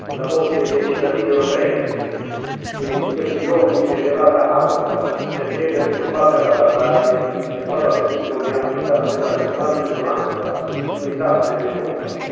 La voce dei cittadini europei, che in questi giorni si è levata alta per chiedere di combattere la barbarie, è stata testimonianza della pressante domanda di unità dell'Europa.